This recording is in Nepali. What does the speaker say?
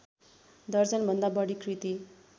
दर्जनभन्दा बढी कृति